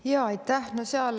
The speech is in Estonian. Jaa, aitäh!